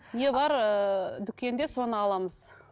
не бар ыыы дүкенде соны аламыз